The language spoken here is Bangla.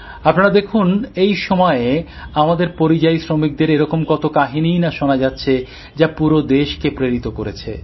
আপনারা দেখুন এই সময়ে আমাদের পরিযায়ী শ্রমিকদের এরকম কত কাহিনীই না শোনা যাচ্ছে যা পুরো দেশকে প্রেরিত করছে